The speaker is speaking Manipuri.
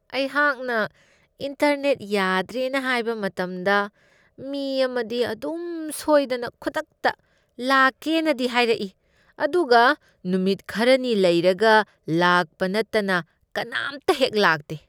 ꯑꯩꯍꯥꯛꯅ ꯏꯟꯇꯔꯅꯦꯠ ꯌꯥꯗ꯭ꯔꯦꯅ ꯍꯥꯏꯕ ꯃꯇꯝꯗ ꯃꯤ ꯑꯃꯗꯤ ꯑꯗꯨꯝ ꯁꯣꯏꯗꯅ ꯈꯨꯗꯛꯇ ꯂꯥꯛꯀꯦꯅꯗꯤ ꯍꯥꯏꯔꯛꯏ ꯑꯗꯨꯒ ꯅꯨꯃꯤꯠ ꯈꯔꯅꯤ ꯂꯩꯔꯒ ꯂꯥꯛꯄ ꯅꯠꯇꯅ ꯀꯅꯥꯝꯇꯍꯦꯛ ꯂꯥꯛꯇꯦ ꯫